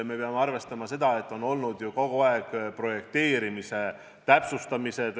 Me peame arvestama, et kogu aeg on projekteerimist täpsustatud.